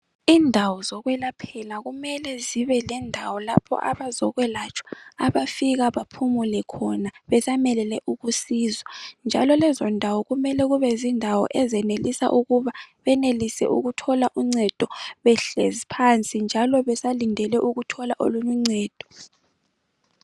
Indawo zokwelaphela kumele zibelendawo lapho abazekwelatshwa abafika baphumule khona besamelele ukusizwa, njalo lezondawo kumele kube zindawo ezenelisa ukuba benelise ukuthola uncedo behlezi phansi, njalo besalindele ukuthola olunye uncedo.